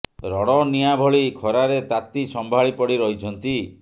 rod ନିଆଁ ଭଳି ଖରାରେ ତାତି ସମ୍ଭାଳି ପଡି ରହିଛନ୍ତି